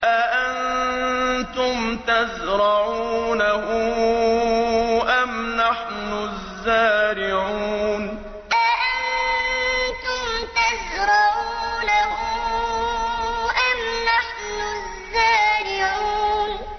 أَأَنتُمْ تَزْرَعُونَهُ أَمْ نَحْنُ الزَّارِعُونَ أَأَنتُمْ تَزْرَعُونَهُ أَمْ نَحْنُ الزَّارِعُونَ